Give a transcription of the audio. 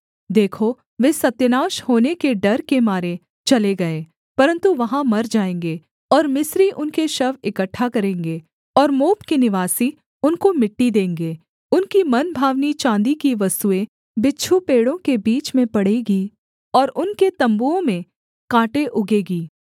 देखो वे सत्यानाश होने के डर के मारे चले गए परन्तु वहाँ मर जाएँगे और मिस्री उनके शव इकट्ठा करेंगे और मोप के निवासी उनको मिट्टी देंगे उनकी मनभावनी चाँदी की वस्तुएँ बिच्छू पेड़ों के बीच में पड़ेंगी और उनके तम्बुओं में काँटे उगेगी